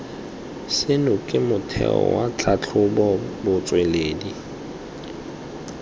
seno ke motheo wa tlhatlhobotsweledi